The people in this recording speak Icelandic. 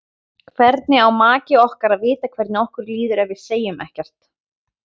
Hvernig á maki okkar að vita hvernig okkur líður ef við segjum ekkert?